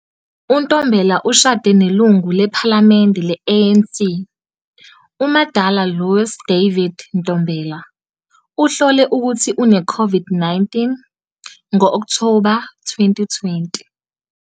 UNtombela ushade nelungu lePhalamende le-ANC, uMadala Louis David Ntombela. Uhlole ukuthi une-COVID-19 ngo-Okthoba 2020.